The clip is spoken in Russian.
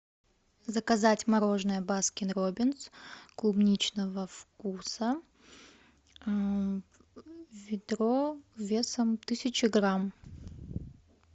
заказать мороженое баскин роббинс клубничного вкуса ведро весом тысяча грамм